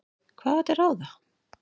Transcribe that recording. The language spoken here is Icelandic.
Hvað var til ráða?